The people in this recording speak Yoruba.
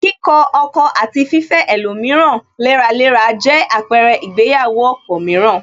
Kíkọ ọkọ̀ àti fifẹ́ ẹlòmíràn léraléra jẹ àpẹrẹ ìgbéyàwó ọ̀pọ̀ mìíràn